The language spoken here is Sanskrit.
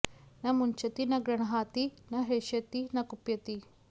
न मुञ्चति न गृण्हाति न हृष्यति न कुप्यति